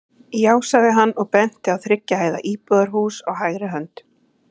Já, sagði hann og benti á þriggja hæða íbúðarhús á hægri hönd.